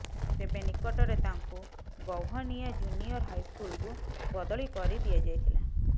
ତେବେ ନିକଟରେ ତାଙ୍କୁ ଗୌହନିଆ ଜୁନିୟର ହାଇସ୍କୁଲକୁ ବଦଳି କରିଦିଆଯାଇଥିଲା